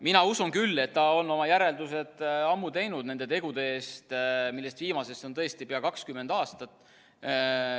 Mina küll usun, et ta on ammu oma järeldused teinud nendest tegudest, millest viimasest on tõesti pea 20 aastat.